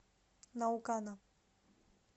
наукана